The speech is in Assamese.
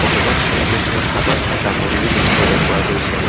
ভগৱান শ্ৰীকৃষ্ণৰ হাতত এটা মুৰুলী দেখিবলৈ পোৱা গৈছে।